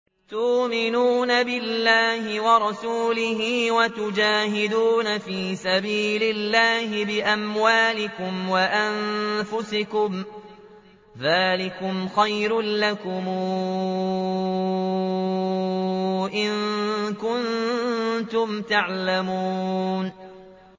تُؤْمِنُونَ بِاللَّهِ وَرَسُولِهِ وَتُجَاهِدُونَ فِي سَبِيلِ اللَّهِ بِأَمْوَالِكُمْ وَأَنفُسِكُمْ ۚ ذَٰلِكُمْ خَيْرٌ لَّكُمْ إِن كُنتُمْ تَعْلَمُونَ